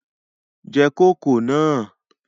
Je kòkó náà!